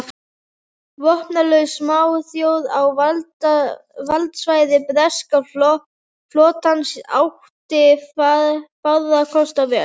Vopnlaus smáþjóð á valdsvæði breska flotans átti fárra kosta völ.